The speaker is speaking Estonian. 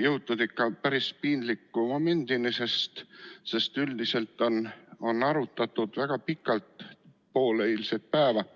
jõutud päris piinliku momendini, sest seda küsimust on arutatud väga pikalt, pool eilset päeva.